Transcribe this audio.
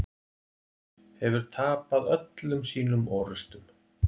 Hefur tapað öllum sínum orrustum.